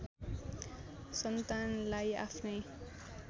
सन्तानलाई आफ्नै